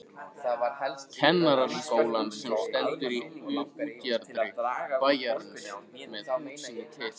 Kennaraskólann sem stendur í útjaðri bæjarins með útsýni til